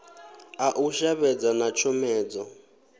a u shavhedza na tshomedzo